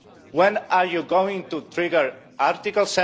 When are you going to trigger Article